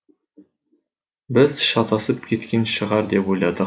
біз шатасып кеткен шығар деп ойладық